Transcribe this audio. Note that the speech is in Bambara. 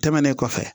Tɛmɛnen kɔfɛ